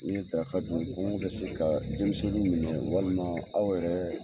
N ye daraka dun kɔngɔ bɛ se ka denmisɛnninw minɛ walima aw yɛrɛ